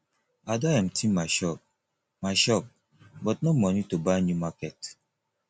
i don empty my shop my shop but no money to buy new market